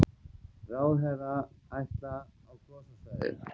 Ráðherrar ætla á gossvæðið